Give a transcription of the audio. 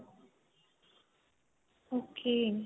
ok.